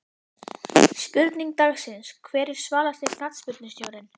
Spurning dagsins: Hver er svalasti knattspyrnustjórinn?